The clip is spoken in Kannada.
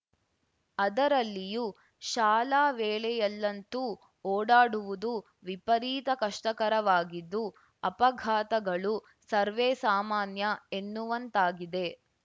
ಅದರಲ್ಲಿಯೂ ಶಾಲಾ ವೇಳೆಯಲ್ಲಂತೂ ಓಡಾಡುವುದು ವಿಪರೀತ ಕಷ್ಟಕರವಾಗಿದ್ದು ಅಪಘಾತಗಳು ಸರ್ವೇ ಸಾಮಾನ್ಯ ಎನ್ನುವಂತಾಗಿದೆ